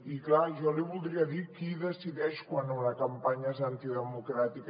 i clar jo li voldria dir qui decideix quan una campanya és antidemocràtica